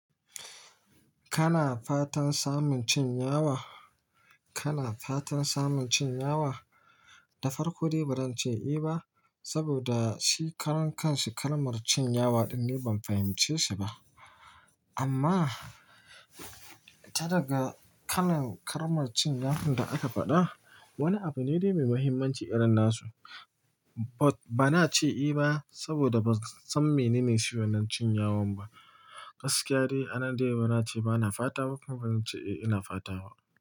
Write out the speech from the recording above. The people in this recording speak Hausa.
Kana fatan samun cin yawa? Kana fatan samun cin yawa? Da farko dai ba zan ce eh ba, saboda shi karan kanshi kalmar cin yawa ɗin ni ban fahimce shi ba. Amma ta daga kalan kalmar cin yafun da aka faɗa, wani abu ne dai mai muhimmanci irin na su. Ba na ce eh ba saboda ban san menene shi wannan cin yawan ba. Gaskiya dai, a nan dai bana ce ba na fata ba kuma bazan ce eh ina fata ba.